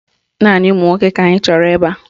Naanị ụmụnwoke ka anyị chọrọ ebe a.